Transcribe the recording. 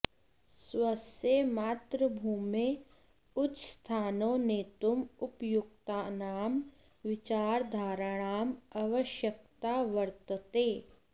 स्वस्य मातृभूम्यै उच्चस्थाने नेतुम् उपयुक्तानां विचारधाराणाम् आवश्यकता वर्तते